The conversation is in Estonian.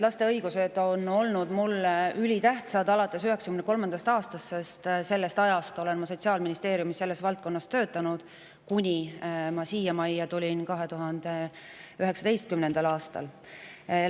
Laste õigused on olnud mulle ülitähtsad alates 1993. aastast, sest sellest ajast töötasin ma Sotsiaalministeeriumis selles valdkonnas, kuni ma 2019. aastal siia majja tulin.